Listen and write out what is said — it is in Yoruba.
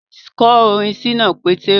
Kọ orin Ṣínà Pétérù